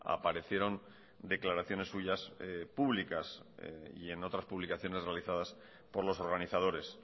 aparecieron declaraciones suyas públicas y en otras publicaciones realizadas por los organizadores